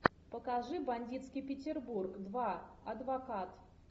покажи бандитский петербург два адвокат